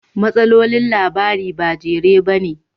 Matsalolin labarin ba jere ba ne